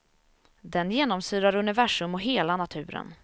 Den genomsyrar universum och hela naturen.